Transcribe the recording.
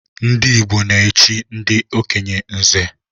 Ndị Igbo na-echi ndị okenye nze